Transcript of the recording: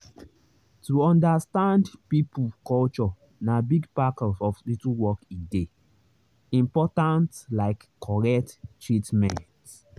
to understand people culture na big part of hospital work e dey important like correct treatment.